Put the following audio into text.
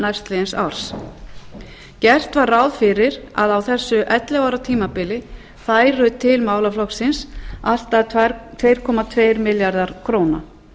næstliðins árs gert var ráð fyrir að á þessu ellefu ára tímabili færu til málaflokksins allt að tvö komma tveir milljarðar króna